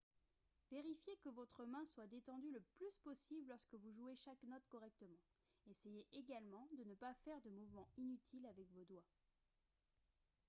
vérifiez que votre main soit détendue le plus possible lorsque vous jouez chaque note correctement essayez également de ne pas faire de mouvements inutiles avec vos doigts